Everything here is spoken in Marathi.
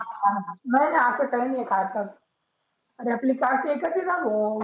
हा नाही नाही असं काही नाही खातात. आरे आपली caste एकच आहे ना भो.